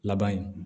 Laban ye